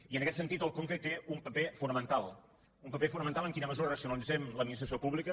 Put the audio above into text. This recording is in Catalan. i en aquest sentit el conca hi té un paper fo·namental un paper fonamental en quina mesura raci·onalitzem l’administració pública